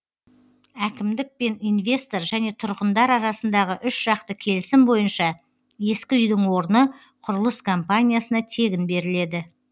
әкімдік пен инвестор және тұрғындар арасындағы үшжақты келісім бойынша ескі үйдің орны құрылыс компаниясына тегін беріледі